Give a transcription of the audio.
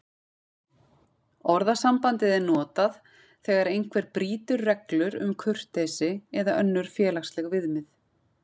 Orðasambandið er notað þegar einhver brýtur reglur um kurteisi eða önnur félagsleg viðmið.